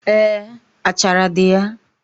Eé, achara dị ya